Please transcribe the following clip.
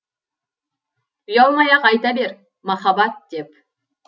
ұялмай ақ айта бер махаббат деп